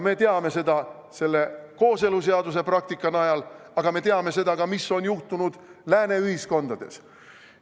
Me teame seda kooseluseaduse praktika najal, aga me teame seda ka, mis on juhtunud lääne ühiskondades.